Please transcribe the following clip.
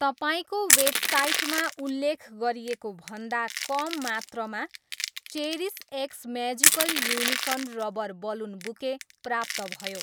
तपाईँको वेबसाइटमा उल्लेख गरिएको भन्दा कम मात्रामा cherish x magical unicorn rubber balloon bouquet प्राप्त भयो